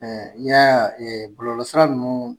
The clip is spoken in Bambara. mais i y'a ye ɛɛ bulonlɔ sira ninnu